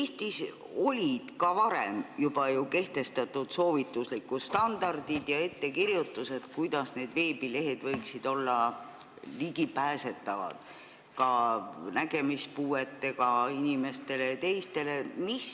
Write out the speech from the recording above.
Eestis olid varemgi ju kehtestatud soovituslikud standardid ja ettekirjutused, kuidas need veebilehed võiksid olla ligipääsetavad ka nägemispuuetega inimestele ja teistele puuetega inimestele.